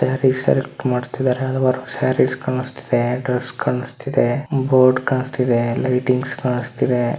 Sarees select ಮಾಡ್ತಿದಾರೆ work sarees ಕಾನಿಸ್ತಾಇದೆ dress ಕಾನಿಸ್ತಾ ಇದೆ ಬೋರ್ಡ್ ಕಾನಿಸ್ತಾಇದೆ ಲೈಟಿಂಗ್ಸ್ ಕಾನಿಸ್ತಾಇದೆ.